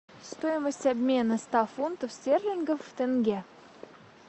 стоимость обмена ста фунтов стерлингов в тенге